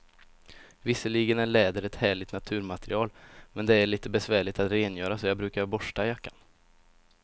Visserligen är läder ett härligt naturmaterial, men det är lite besvärligt att rengöra, så jag brukar borsta jackan.